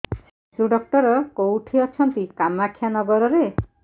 ଶିଶୁ ଡକ୍ଟର କୋଉଠି ଅଛନ୍ତି କାମାକ୍ଷାନଗରରେ